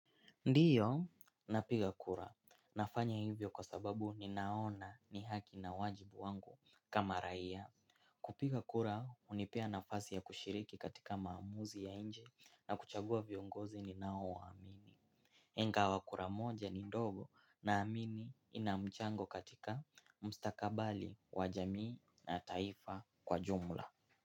Ndiyo, napiga kura. Nafanya hivyo kwa sababu ninaona ni haki na wajibu wangu kama raia. Kupiga kura, unipea nafasi ya kushiriki katika maamuzi ya nje na kuchagua viongozi ni nao waamini. Hengawa kura moja ni ndogo naamini inamchango katika mstakabali wajamii na taifa kwa jumla.